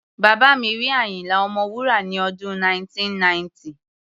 Bàbá mi rí Àyínlá Ọmọwúrà ní ọdún 1990.